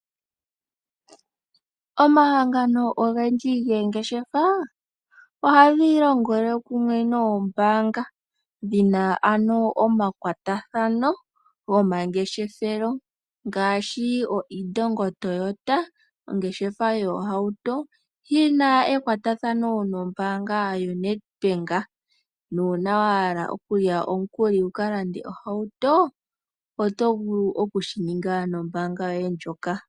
Omahangano ogendji goongeshefa ohaga longele kumwe noombanga. Dhina ano omakwatathano gomangeshefelo ngaashi oIndongo Toyota ongeshefa yoohauto. Yina ekwatathano nombanga yoNedbank. Nuuna wa hala omukuli wuka lande ohauto oto vulu okushi ninga nombanga yoye ndjoka.